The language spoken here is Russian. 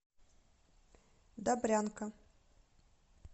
добрянка